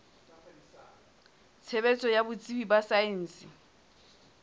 tshebetso ya botsebi ba saense